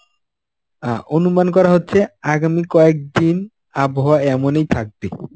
অ্যাঁ অনুমান করা হচ্ছে আগামী কয়েকদিন আবহাওয়া এমনই থাকবে.